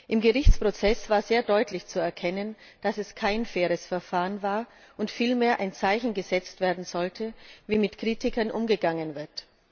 Im Gerichtsprozess war sehr deutlich zu erkennen, dass es kein faires Verfahren war und vielmehr ein Zeichen gesetzt werden sollte, wie mit Kritikern umgegangen wird.